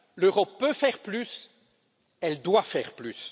L'Europe peut faire plus, elle doit faire plus.